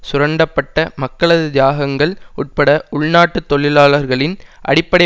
சுரண்டப்பட்ட மக்களது தியாகங்கள் உட்பட உள்நாட்டுத் தொழிலாளர்களின் அடிப்படை